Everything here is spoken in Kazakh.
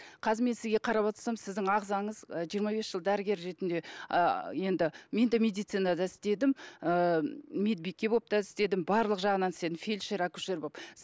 қазір мен сізге қарап отырсам сіздің ағзаңыз ы жиырма бес жыл дәрігер ретінде ыыы енді мен де медицинада істедім ыыы медбике болып та істедім барлық жағынан фельдшер акушер болып